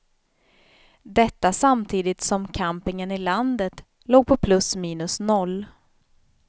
Detta samtidigt som campingen i landet låg på plus minus noll.